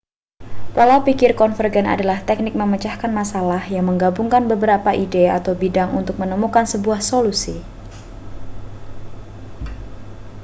pola pikir konvergen adalah teknik memecahkan masalah yang menggabungkan beberapa ide atau bidang untuk menemukan sebuah solusi